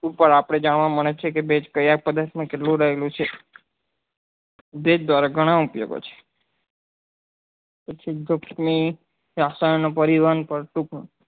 ઉપર આપને જાણવા મળે છે કે base કયા પદાર્થ માં કેટલું રહેલું છે base દ્વારા ગણા ઉપયોગો છે રસાયણ ની